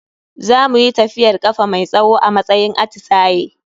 Za muyi tafiyar kafa mai tsawo a matsayin atisaye.